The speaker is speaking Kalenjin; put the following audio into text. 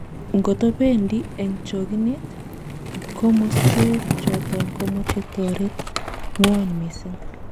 Ngotobeendi en chokinet, komosweet choton komoche toreete ngwong' mising'.